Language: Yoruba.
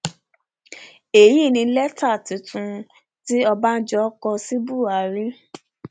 èyí ni lẹtà tuntun tí ọbànjọ kọ sí buhari